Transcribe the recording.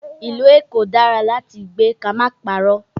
Ìlú Èkó dára láti gbé ká má parọ́.